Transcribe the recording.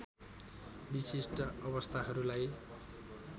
विशिष्ट अवस्थाहरूलाई